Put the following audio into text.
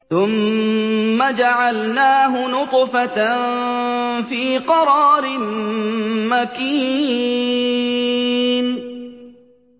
ثُمَّ جَعَلْنَاهُ نُطْفَةً فِي قَرَارٍ مَّكِينٍ